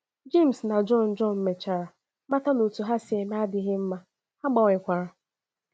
Jems na Jọn Jọn mechara mata na otú ha si eme adịghị mma, ha gbanwekwara.